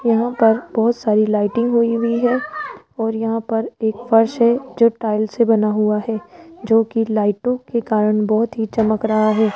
यहां पर बहोत सारी लाइटिंग होई हुई है और यहां पर एक फर्श है जो टाइल से बना हुआ है जोकि लाइटों के कारण बहोत ही चमक रहा है।